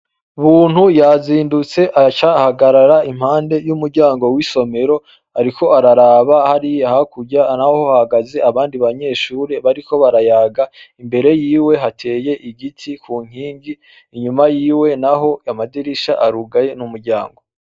Umuntu yazindutse, aca ahagarara impande y'umuryango w'isomero, ariko araba hariya harkurya, aho naho hagaraye abandi banyeshure bariko barayaga. Imbere yiwe hateye igiti ku nkingi, inyuma yiwe naho amadirisha arugaye n'umuryango.